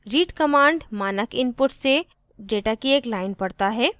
read command मानक input से data की एक line पढ़ता है